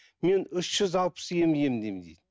мен үш жүз алпыс ем емдеймін дейді